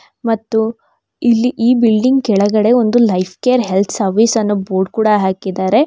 ಮತ್ತು ಇಲ್ಲಿ ಈ ಬಿಲ್ಡಿಂಗ್ ಕೆಳಗಡೆ ಒಂದು ಲೈಫ್ ಕೇರ್ ಹೆಲ್ತ್ ಸರ್ವಿಸ್ ಅನ್ನೋ ಬೋರ್ಡ್ ಕೂಡ ಹಾಕಿದ್ದಾರೆ.